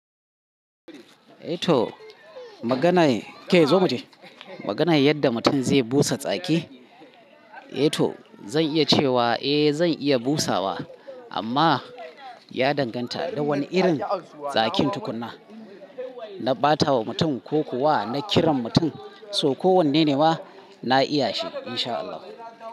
Eh to maganar, ke zo muje. Maganar yadda mutum zai busa tsaki, eh to zan iya cewa eh zan iya busawa amma ya danganta da wane irin tsakin tukuna. Na ɓatawa mutum ko kuwa na kiran mutum, so ko wanne ne ma, na iya shi in sha Allah.